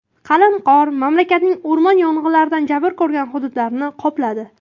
Qalin qor mamlakatning o‘rmon yong‘inlaridan jabr ko‘rgan hududlarini qopladi.